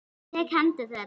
Ég tek í hendur þeirra.